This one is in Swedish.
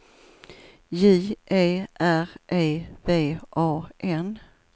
J E R E V A N